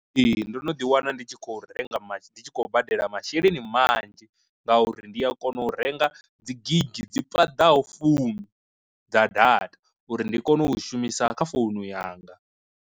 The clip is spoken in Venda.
Ee ndo no ḓi wana ndi tshi khou renga ndi tshi khou badela masheleni manzhi ngauri ndi a kona u renga dzi gigi dzi paḓaho fumi dza data uri ndi kone u shumisa kha founu yanga.